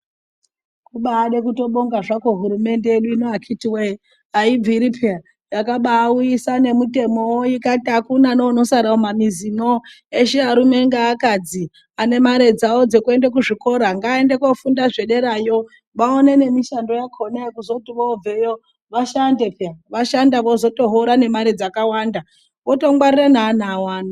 Kubade kutobonga zvako hurumende yedu ino akitiwoye aibviri peya yakabauyisa nemutemowo ikati akuna neunosara mumamizi eshe arume ngeakadzi anene mare dzawo dzekuenda kuzvikora ngaaende kofunda zvedarayo vaone nemishando yakona yekuzoti vobveyo vashande peya , vashanda vozotohora nemare dzakawanda votongwarira nevana vavo.